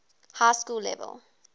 high school level